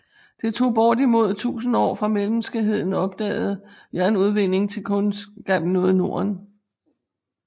Det tog bortimod 1000 år fra menneskeheden opdaget jernudvinding til kundskaben nåde Norden